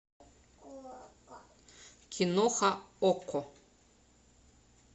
киноха окко